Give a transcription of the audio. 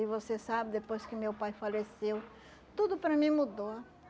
E você sabe, depois que meu pai faleceu, tudo para mim mudou.